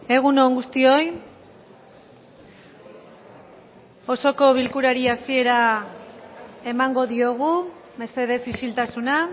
egun on guztioi osoko bilkurari hasiera emango diogu mesedez isiltasuna